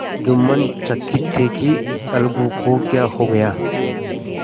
जुम्मन चकित थे कि अलगू को क्या हो गया